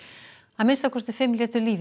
að minnsta kosti fimm létu lífið